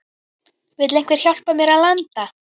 Vill einhver hjálpa mér að landa?